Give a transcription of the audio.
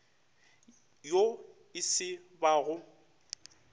yo e se ba go